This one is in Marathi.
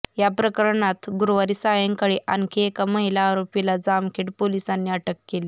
या प्रकरणात गुरुवारी सायंकाळी आणखी एका महिला आरोपीला जामखेड पोलिसांनी अटक केली